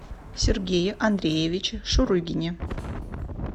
сергее андреевиче шурыгине